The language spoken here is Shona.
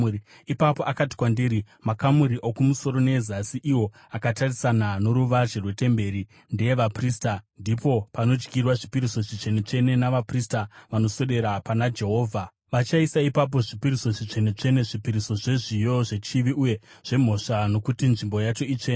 Ipapo akati kwandiri, “Makamuri okumusoro neezasi iwo akatarisana noruvazhe rwetemberi ndeevaprista, ndipo panodyirwa zvipiriso zvitsvene-tsvene navaprista vanoswedera pana Jehovha. Vachaisa ipapo zvipiriso zvitsvene-tsvene, zvipiriso zvezviyo, zvechivi, uye zvemhosva, nokuti nzvimbo yacho itsvene.